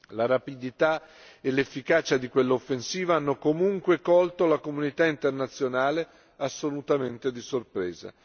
La rapidità e l'efficacia di quell'offensiva hanno comunque colto la comunità internazionale assolutamente di sorpresa.